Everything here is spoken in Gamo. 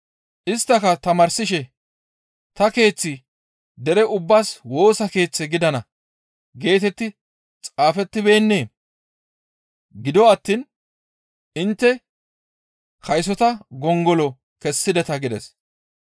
Isttaka tamaarsishe, «Ta keeththi dere ubbaas Woosa Keeththe gidana geetetti xaafettibeennee? Gido attiin intte kaysota gongolo kessideta» gides.